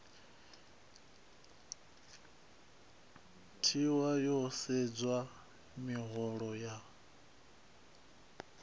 tiwa ho sedzwa miholo ya